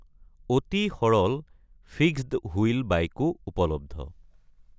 অতি সৰল ফিক্সড-হুইল বাইকো উপলব্ধ।